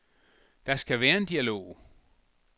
Der skal være en dialog.